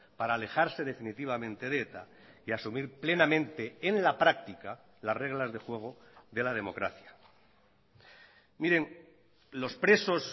para alejarse definitivamente de eta y asumir plenamente en la práctica las reglas de juego de la democracia miren los presos